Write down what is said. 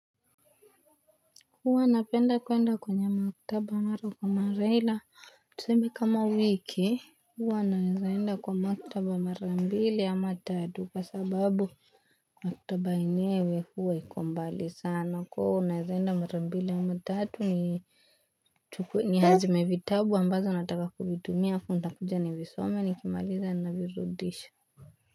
Huwa napenda kuenda kwenye maktaba mara kwa mara ila tuseme kama wiki huwa naizaenda kwa maktaba mara mbile ama tadu kwa sababu maktaba inewe huwa ikombali sana kuhu naizaenda mara mbile ama tadu ni ni hazme vitabu ambazo nataka kubidumia kumta kuja ni visome ni kimaliza na virudisha.